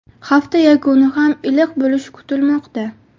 Hafta yakuni ham iliq bo‘lishi kutilmoqda.